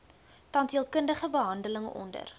tandheelkundige behandeling onder